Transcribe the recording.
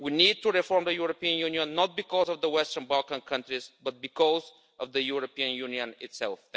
We need to reform the European Union not because of the Western Balkan countries, but because of the European Union itself.